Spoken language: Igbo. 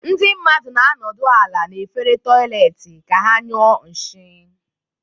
Ndị mmadụ na-anọdụ ala n'efere toịletị ka ha nyụọ nshi.